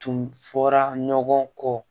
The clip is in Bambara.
Tun fɔra ɲɔgɔn kɔ